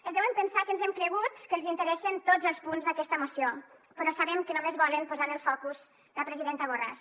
es deuen pensar que ens hem cregut que els interessen tots els punts d’aquesta moció però sabem que només volen posar en el focus la presidenta borràs